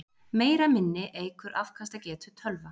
Meira minni eykur afkastagetu tölva.